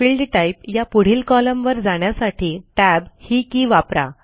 field type या पुढील कॉलमवर जाण्यासाठी टॅब ही की वापरा